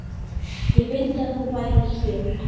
Ég vildi að þú værir hér.